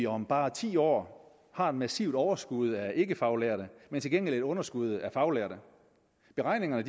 om bare ti år har et massivt overskud af ikkefaglærte men til gengæld et underskud af faglærte beregninger